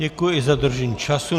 Děkuji za dodržení času.